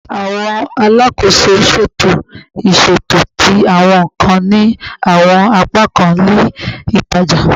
Awọn alakoso ṣeto iṣeto ti awọn nkan ni awọn apakan ile itaja